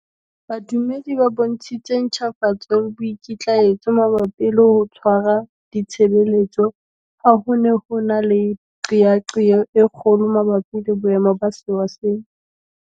Badumedi ba bontshitse ntjhafatso le boikitlaetso mabapi le ho tshwara di tshebeletso ha ho ne ho na le qeaqeo e kgolo mabapi le boemo ba sewa sena.